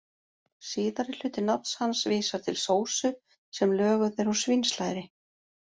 Síðari hluti nafns hans vísar til sósu sem löguð er úr svínslæri.